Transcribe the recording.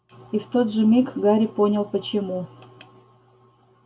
и в тот же миг гарри понял почему